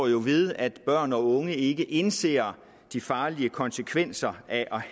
jo ved at børn og unge ikke indser de farlige konsekvenser af